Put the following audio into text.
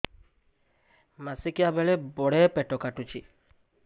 ମାସିକିଆ ବେଳେ ବଡେ ପେଟ କାଟୁଚି